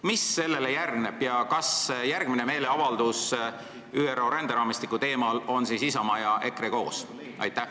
Mis sellele järgneb ja kas järgmisel meeleavaldusel ÜRO ränderaamistiku teemal on siis Isamaa ja EKRE koos?